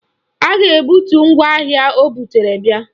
A ga-ebutu ngwaahịa o butere bia